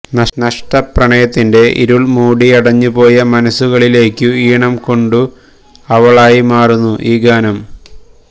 നഷ്ടപ്രണയത്തിന്റെ ഇരുൾ മൂടിയടഞ്ഞു പോയ മനസുകളിലേക്കു ഈണം കൊണ്ടു അവളായി മാറുന്നു ഈ ഗാനം